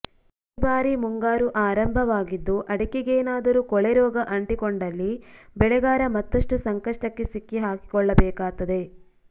ಈ ಬಾರಿ ಮುಂಗಾರು ಆರಂಭವಾಗಿದ್ದು ಅಡಿಕೆಗೇನಾದರೂ ಕೊಳೆ ರೋಗ ಅಂಟಿಕೊಂಡಲ್ಲಿ ಬೆಳೆಗಾರ ಮತ್ತಷ್ಟು ಸಂಕಷ್ಟಕ್ಕೆ ಸಿಕ್ಕಿ ಹಾಕಿಕೊಳ್ಳಬೇಕಾತ್ತದೆ